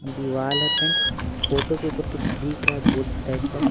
दीवाल है फोटो के ऊपर कुछ दिख रहा है बोर्ड टाइप का--